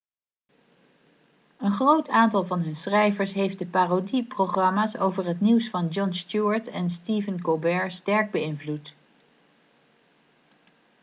een groot aantal van hun schrijvers heeft de parodieprogramma's over het nieuws van jon stewart en stephen colbert sterk beïnvloed